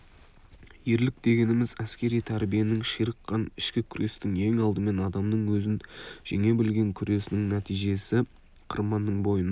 ерлік дегеніміз әскери тәрбиенің ширыққан ішкі күрестің ең алдымен адамның өзін жеңе білген күресінің нәтижесіо қырманның бойына